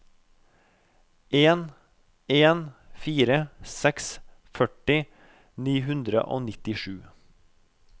en en fire seks førti ni hundre og nittisju